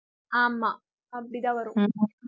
ஆமாம் அப்படி தான் வரும்